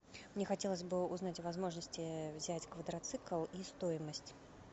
мне хотелось бы узнать о возможности взять квадроцикл и стоимость